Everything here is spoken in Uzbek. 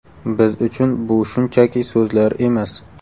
Biz uchun bu shunchaki so‘zlar emas.